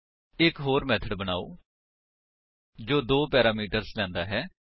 ਇੱਕ ਹੋਰ ਮੇਥਡ ਬਨਾਓ ਜੋ ਦੋ ਪੈਰਾਮੀਟਰਸ ਲੈਂਦਾ ਹੈ